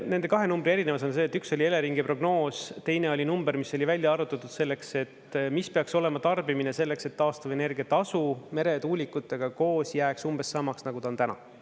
Selle kahe numbri erinevus on see, et üks oli Eleringi prognoos, teine oli number, mis oli välja arvutatud selleks, et mis peaks olema tarbimine selleks, et taastuvenergia tasu meretuulikutega koos jääks umbes samaks, nagu ta on täna.